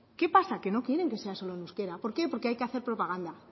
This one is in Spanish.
qué pasa que no quieren que sea solo en euskera por qué porque hay que hacer propaganda